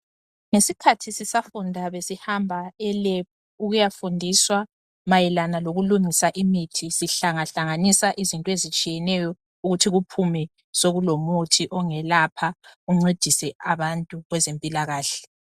Ngesikhathi sisafunda besihamba e"lab" ukuyafundiswa mayelana lokulungisa imithi sihlangahlanganisa izinto ezitshiyeneyo ukuthi kuphume sokulomuthi ongelapha uncedise abantu kwezempilakahle.